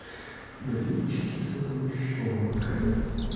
блинчики со сгущёнкой